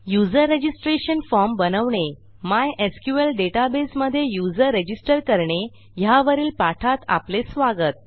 user registration form बनवणे mysqlडेटाबेसमधे user register करणे ह्यावरील पाठात आपले स्वागत